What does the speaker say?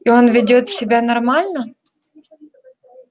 и он ведёт себя нормально